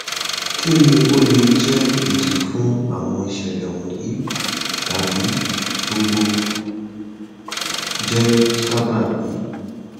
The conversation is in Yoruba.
kini o le jẹ idi fun awọn iṣẹlẹ wọnyi tabi gbogbo jẹ sababi